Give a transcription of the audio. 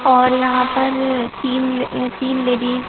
और यहां पर तीन तीन लेडीज --